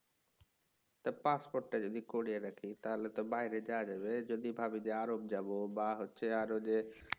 তা পাসপোর্টটা যদি করিয়ে রাখি তাহলে তো বাইরে যাওয়া যাবে যদি ভাবি যে আরব যাবো বা হচ্ছে আরও যে